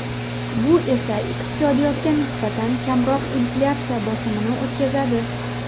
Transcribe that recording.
Bu esa iqtisodiyotga nisbatan kamroq inflyatsiya bosimini o‘tkazadi.